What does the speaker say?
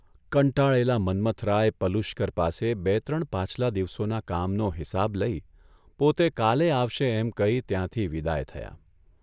કંટાળેલા મન્મથરાય પલુશકર પાસે બે ત્રણ પાછલા દિવસોના કામનો હિસાબ લઇ પોતે કાલે આવશે એમ કહી ત્યાંથી વિદાય થયા.